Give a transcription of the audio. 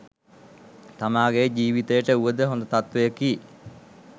තමාගේ ජීවිතයට වුවද හොඳ තත්ත්වයකි.